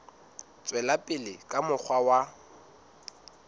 tswela pele ka mokgwa wa